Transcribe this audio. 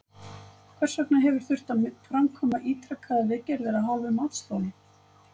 Hvers vegna hefur þurft að framkvæma ítrekaðar viðgerðir af hálfu matsþola?